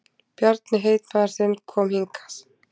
Bjarni heitmaður þinn kom hingað.